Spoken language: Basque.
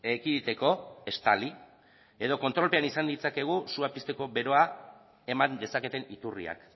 ekiditeko estali edo kontrolpean izan ditzakegu sua pizteko beroa eman dezaketen iturriak